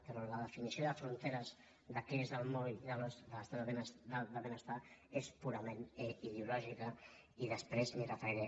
però la definició de fronteres de què és el moll de l’os de l’es·tat del benestar és purament ideològica i després m’hi referiré